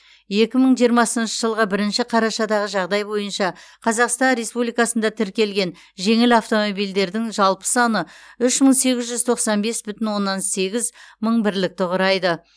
екі мың жиырмасыншы жылғы бірінші қарашадағы жағдай бойынша қазақстан республикасында тіркелген жеңіл автомобильдердің жалпы саны үш мың сегіз жүз тоқсан бес бүтін оннан сегіз мың бірлікті құрайды